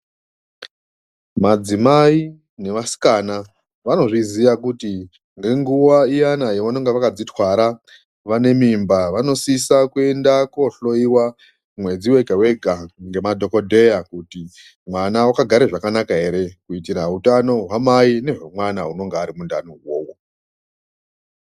Madzimai nevasikana vanozviziya kuti ngenguwa iyana yavanenge vakadzitwara, vane mimba vanosisa kuenda koohloyiwa mwedzi wega-wega ngemadhogodheya kuti mwana akagara zvakanaka ere kuitira hutano hwamai nemwana anonga arimundani umo uwowo.